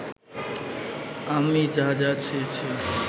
আমি যা যা ছুঁয়েছি